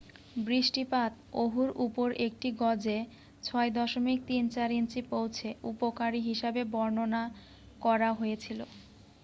"""বৃষ্টিপাত ওহুর উপর একটি গজে 6.34 ইঞ্চি পৌঁছে," "উপকারী" হিসাবে বর্ণনাকরা হয়েছিল। "